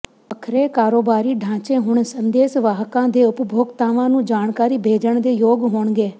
ਵੱਖਰੇ ਕਾਰੋਬਾਰੀ ਢਾਂਚੇ ਹੁਣ ਸੰਦੇਸ਼ਵਾਹਕਾਂ ਦੇ ਉਪਭੋਗਤਾਵਾਂ ਨੂੰ ਜਾਣਕਾਰੀ ਭੇਜਣ ਦੇ ਯੋਗ ਹੋਣਗੇ